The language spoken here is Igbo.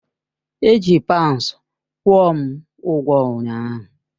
Eji paunds kwụọ m ụgwọ ụnyaahụ.